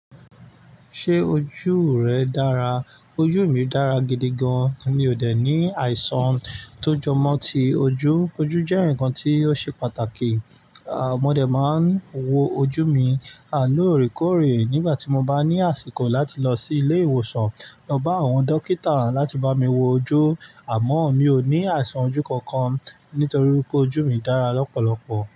Ṣé ojú rẹ dára? Ojú mi dára gidi gan. Mi ò dè ní àìsàn tó jọmọ́ ti ojú. Ojú jẹ́ ǹkan tí ó ṣe pàtàkì. À, mo dè máa ń wo ojú mi àlóòrèkóòrè nígbà tí mo bá ní àsìkò láti lọ sí ilé ìwòsàn lọ bá àwọn dókítà láti bá mi wo ojú. Àmọ́ mi ò ní àìsàn ojú kankan nítorí wípé ojú mi dára lọ́pọ̀lọ́pọ̀.